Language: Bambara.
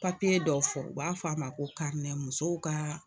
dɔ fɔ u b'a fɔ a ma ko musow kaa